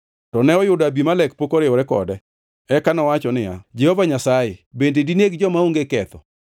To ne oyudo Abimelek pok oriwore kode. Eka nowacho niya, “Jehova Nyasaye bende dineg joma onge ketho?